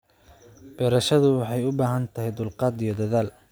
Beerashadu waxay u baahan tahay dulqaad iyo dadaal.